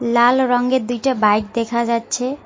লাল রঙ্গের দুইটা বাইক দেখা যাচ্ছে।